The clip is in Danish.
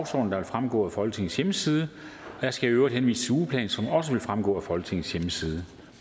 der vil fremgå af folketingets hjemmeside jeg skal i øvrigt henvise til ugeplanen som også fremgår af folketingets hjemmeside